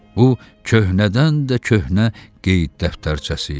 Bu, köhnədən də köhnə qeyd dəftərçəsi idi.